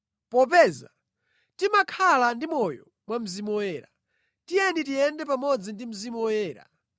Popeza timakhala ndi moyo mwa Mzimu Woyera, tiyeni tiyende pamodzi ndi Mzimu Woyera.